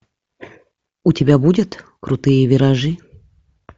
у тебя будет крутые виражи